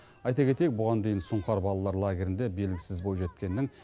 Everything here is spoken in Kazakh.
айта кетейік бұған дейін сұңқар балалар лагерінде белгісіз бойжеткеннің